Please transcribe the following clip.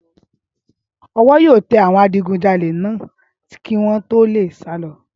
Ọwọ́ yóò tẹ àwọn adigunjalè náà kí wọ́n tó lè sálọ